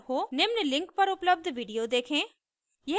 निम्न link पर उपलब्ध video देखें